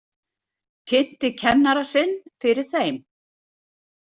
Kynnti kennara sinn fyrir þeim.